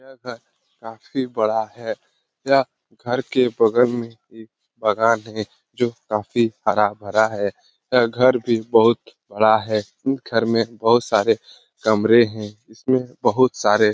यह घर काफी बड़ा है। यह घर के बगल मे एक बगान है जो काफी हरा-भरा है यह घर भी बहुत बड़ा है। इस घर मे बहुत सारे कमरे है इसमें बहुत सारे --